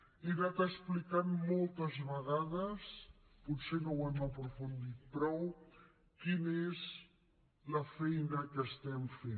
he anat explicant moltes vegades potser no ho hem aprofundit prou quina és la feina que estem fent